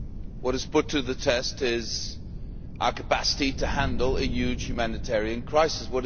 What is being put to the test is our capacity to handle a huge humanitarian crisis.